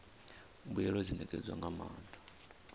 mbuelo dzi ṋetshedzwa nga maanḓa